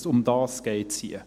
» Darum geht es hier.